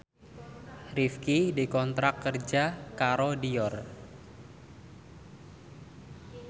Rifqi dikontrak kerja karo Dior